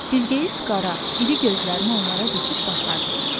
Bilgeys qara, iri gözlərini onlara dikib baxardı.